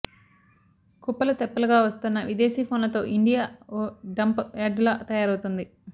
కుప్పలు తెప్పలుగా వస్తోన్న విదేశీ ఫోన్లతో ఇండియా ఓ డంప్ యార్డ్ లా తయారవుతోంది